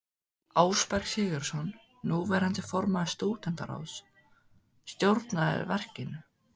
Ásberg Sigurðsson, núverandi formaður stúdentaráðs, stjórnaði verkinu.